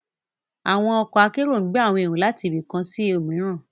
Awọn ọkọ akero n gbe awọn ero lati ibi kan si omiran